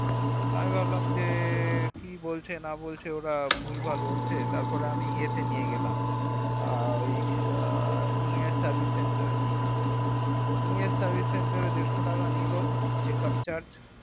আমি ভাবলাম যে কি বলছে না বলছে ওরা ভুলভাল বলছে তারপরে আমি ইয়েতে নিয়ে গেলাম আ ওই নিয়ে service center এ নিয়ে গেলাম নিয়ে service center এ দেড়শো টাকা নিলো checkup charge